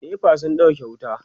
NEPA sun ɗauke wuta